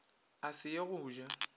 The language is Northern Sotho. a se ye go ja